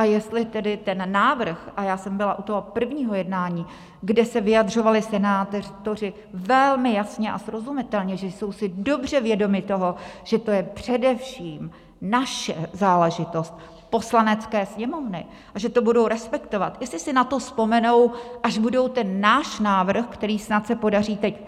A jestli tedy ten návrh - a já jsem byla u toho prvního jednání, kde se vyjadřovali senátoři velmi jasně a srozumitelně, že jsou si dobře vědomi toho, že to je především naše záležitost, Poslanecké sněmovny, a že to budou respektovat - jestli si na to vzpomenou, až budou ten náš návrh, který snad se podaří teď